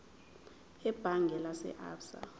ebhange lase absa